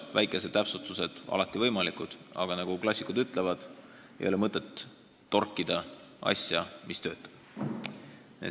Väikesed täpsustused on alati võimalikud, aga nagu klassikud ütlevad: ei ole mõtet torkida asja, mis töötab.